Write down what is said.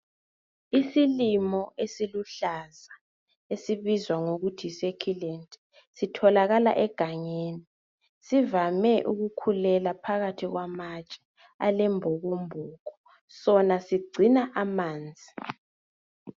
Isilimo esiluhlaza esibizwa ngokuthi yisekhilendi sithokala egangeni sivame ukukhulela phakathi kwamatshe alembokomboko sona sigcina amanzi.